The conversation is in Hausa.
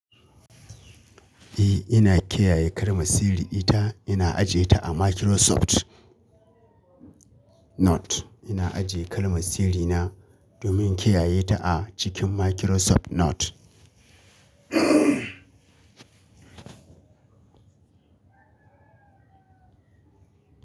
Eh, ina kiyaye kalma sirri ita ina aje ta a Microsoft Note. Ina aje kalma sirri na domin kiyaye ta a cikin Microsoft Note.